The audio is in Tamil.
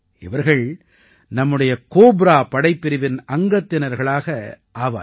இவர்கள் நம்முடைய கோப்ரா படைப்பிரிவின் அங்கத்தினர்களாக ஆவார்கள்